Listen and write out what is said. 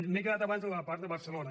m’he quedat abans a la part de barcelona